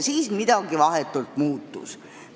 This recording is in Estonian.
Siis aga midagi muutus.